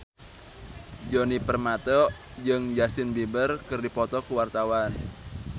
Djoni Permato jeung Justin Beiber keur dipoto ku wartawan